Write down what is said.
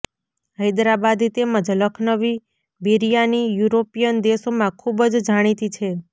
હૈદરાબાદી તેમજ લખનવી બિરિયાની યૂરોપિયન દેશોમાં ખૂબ જ જાણીતી છે